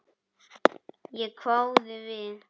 Ég hváði við.